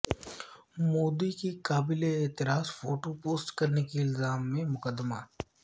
مودی کی قابل اعتراض فوٹو پوسٹ کرنے کے الزام میں مقدمہ